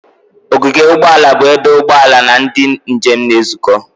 Ogige ụgbọ ala bụ ebe ụgbọ ala na ndị njem na-ezukọ.